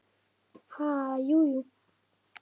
Ha, jú, jú